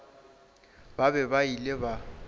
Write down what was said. ba be ba ile ba